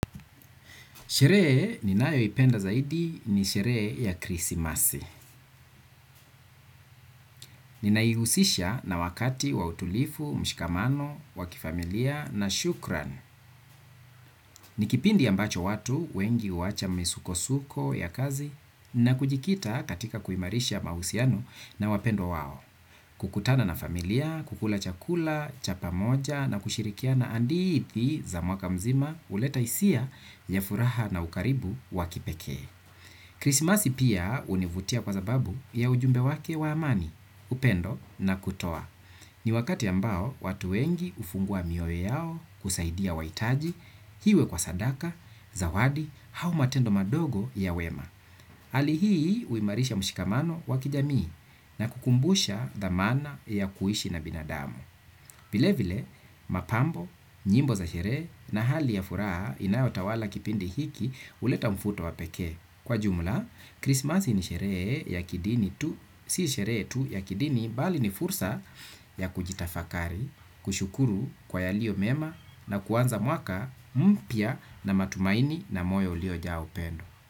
Sherehe ninayoipenda zaidi ni sherehe ya krismasi. Ninaihusisha na wakati wa utulivu mshikamano wa kifamilia na shukrani ni kipindi ambacho watu wengi huacha misuko-suko ya kazi na kujikita katika kuimarisha mahusiano na wapendwa wao. Kukutana na familia, kukula chakula, cha pamoja na kushirikiana hadithi za mwaka mzima huleta hisia ya furaha na ukaribu wa kipekee. Krismasi pia hunivutia kwa sababu ya ujumbe wake wa amani, upendo na kutoa. Ni wakati ambao watu wengi hufungua mioyo yao kusaidia wahitaji, iwe kwa sadaka, zawadi, au matendo madogo ya wema. Hali hii huimarisha mshikamano wa kijamii na kukumbusha dhamana ya kuishi na binadamu. Vile vile mapambo, nyimbo za sherehe na hali ya furaha inayotawala kipindi hiki huleta mvuto wa peke. Kwa jumla, Christmas ni sherehe ya kidini tu, si sherehe tu ya kidini bali ni fursa ya kujitafakari, kushukuru kwa yaliyo mema na kuanza mwaka mpya na matumaini na moyo uliojaa upendo.